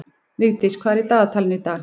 Vigdís, hvað er í dagatalinu í dag?